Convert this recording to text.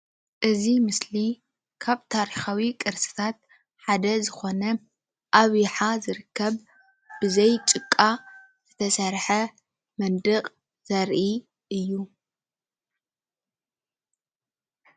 እዚ ምስሊ ካብ ታሪኻዊ ቅርስታት ሓደ ዝኾነ ኣብ ይሓ ዝርከብ ብዘይ ጭቃ ዝተሰርሐ መንድቕ ዘርኢ እዩ።